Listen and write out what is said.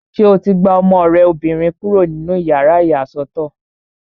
Ṣé o ti gba ọmọ rẹ obìnrin kúrò nínú yàrá ìyàsọ́tọ̀?